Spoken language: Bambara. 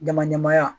Dama dama